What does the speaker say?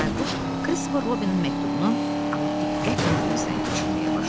Bayquş Kristofer Robinin məktubunu alıb diqqətlə gözdən keçirməyə başladı.